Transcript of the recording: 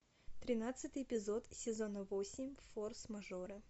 тринадцатый эпизод сезона восемь форс мажора